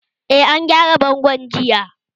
Eh, an gyara bangon jiya